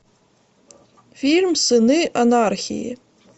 фильм сыны анархии